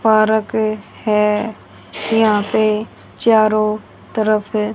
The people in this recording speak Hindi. पारक है यहां पे चारों तरफ--